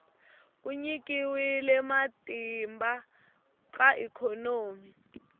ku nyikiwa matimba ka ikhonomi